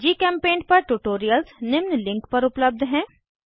जीचेम्पेंट पर ट्यूटोरियल्स निम्न लिंक पर उपलब्ध हैं